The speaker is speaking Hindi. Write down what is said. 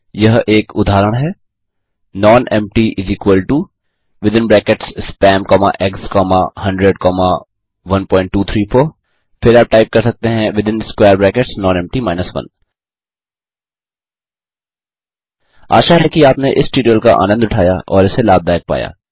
यह एक उदहारण है नॉनेम्पटी spam ईजीजीज 100 1234 nonempty 1 आशा है कि आपने इस ट्यूटोरियल का आनन्द उठाया और इसे लाभदायक पाया